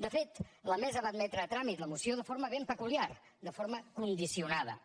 de fet la mesa va admetre a tràmit la moció de forma ben peculiar de forma condicionada